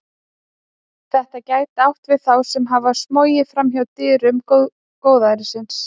Þetta gæti átt við þá sem hafa smogið fram hjá dyrum góðærisins.